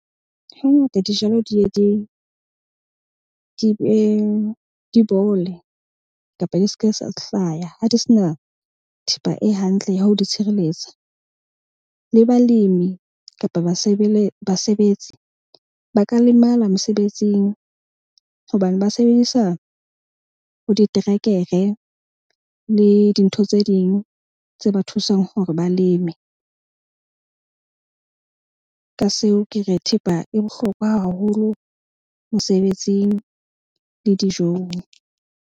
Hangata dijalo di bole kapa di ske sa hlaya ha di se na thepa e hantle ya ho di tshireletsa. Le balemi kapa basebetsi ba ka lemala mesebetsing hobane ba sebedisa bo diterekere le dintho tse ding tse ba thusang hore ba leme. Ka seo ke re thepa e bohlokwa haholo mosebetsing le dijong.